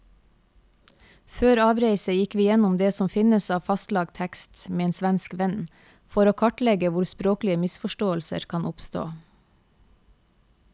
Før avreise gikk vi gjennom det som finnes av fastlagt tekst med en svensk venn, for å kartlegge hvor språklige misforståelser kan oppstå.